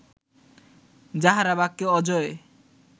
যাঁহারা বাক্যে অজেয়